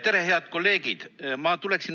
Tere, head kolleegid!